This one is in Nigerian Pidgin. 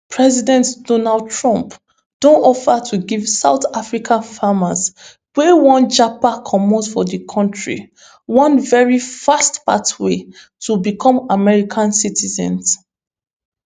president donald trump don offer to give south africa farmers wey wan japa comot for di kontri one very fast pathway to become america citizens